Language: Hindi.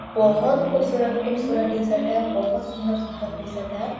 बहोत खूबसुरत-खूबसुरत टी-शर्ट है बहोत सुंदर-सुंदर टी-शर्ट है।